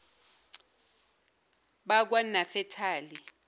bakwanafetali